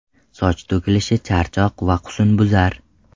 Soch to‘kilishi, charchoq va husnbuzar.